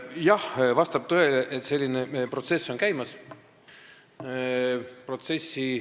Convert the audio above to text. Jah, vastab tõele, et selline asi on käimas.